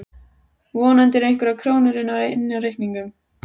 Vonandi eru einhverjar krónur inni á reikningnum.